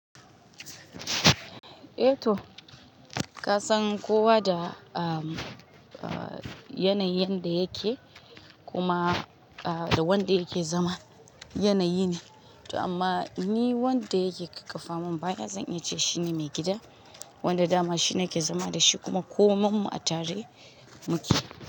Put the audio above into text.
Eh to, ka san kowa da, ah, yanayin yanda yake, kuma, ah, da wanda yake zama yanayi ne. Toh amma ni wanda yake ƙaƙkafa mun baya, zan iya ce shine maigida, wanda dama shi na ke zama da shi, kuma komai mu a tare muke.